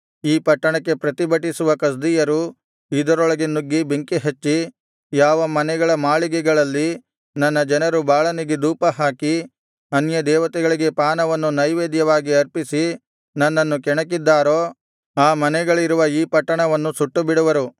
ಈ ಪಟ್ಟಣಕ್ಕೆ ಪ್ರತಿಭಟಿಸುವ ಕಸ್ದೀಯರು ಇದರೊಳಗೆ ನುಗ್ಗಿ ಬೆಂಕಿಹಚ್ಚಿ ಯಾವ ಮನೆಗಳ ಮಾಳಿಗೆಗಳಲ್ಲಿ ನನ್ನ ಜನರು ಬಾಳನಿಗೆ ಧೂಪಹಾಕಿ ಅನ್ಯದೇವತೆಗಳಿಗೆ ಪಾನವನ್ನು ನೈವೇದ್ಯವಾಗಿ ಅರ್ಪಿಸಿ ನನ್ನನ್ನು ಕೆಣಕಿದ್ದಾರೋ ಆ ಮನೆಗಳಿರುವ ಈ ಪಟ್ಟಣವನ್ನು ಸುಟ್ಟುಬಿಡುವರು